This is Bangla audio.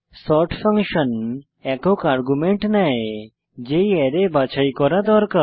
সর্ট ফাংশন একক আর্গুমেন্ট নেয় যেই অ্যারে বাছাই করা দরকার